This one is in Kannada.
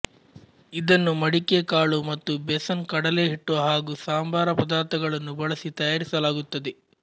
ಇದನ್ನು ಮಡಿಕೆ ಕಾಳು ಮತ್ತು ಬೇಸನ್ ಕಡಲೆ ಹಿಟ್ಟು ಹಾಗೂ ಸಂಬಾರ ಪದಾರ್ಥಗಳನ್ನು ಬಳಸಿ ತಯಾರಿಸಲಾಗುತ್ತದೆ